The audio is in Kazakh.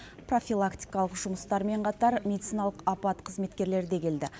профилактикалық жұмыстармен қатар медициналық апат қызметкерлері де келді